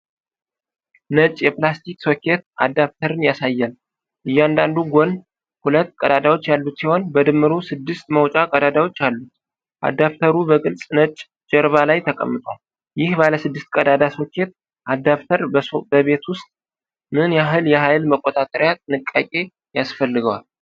ነጭ የፕላስቲክ ሶኬት አዳፕተርን ያሳያል። እያንዳንዱ ጎን ሁለት ቀዳዳዎች ያሉት ሲሆን፤ በድምሩ ስድስት መውጫ ቀዳዳዎች አሉት። አዳፕተሩ በግልጽ ነጭ ጀርባ ላይ ተቀምጧል። ይህ ባለ ስድስት ቀዳዳ ሶኬት አዳፕተር በቤት ውስጥ ምን ያህል የኃይል መቆጣጠሪያ ጥንቃቄ ያስፈልገዋል?